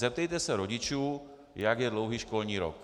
Zeptejte se rodičů, jak je dlouhý školní rok.